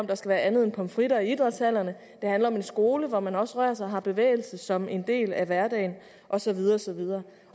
der skal være andet end pomfritter i idrætshallerne det handler om en skole hvor man også rører sig og har bevægelse som en del af hverdagen og så videre og så videre